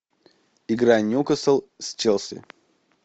игра ньюкасл с челси